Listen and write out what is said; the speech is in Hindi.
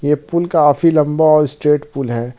ये पुल काफी लंबा और स्टेट पुल है।